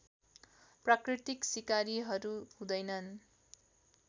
प्राकृतिक सिकारीहरू हुँदैनन्